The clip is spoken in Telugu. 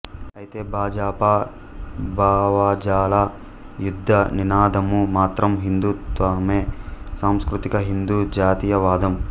అయితే భాజపా భావజాల యుద్ధ నినాదము మాత్రం హిందుత్వమే సాంస్కృతిక హిందూ జాతీయవాదం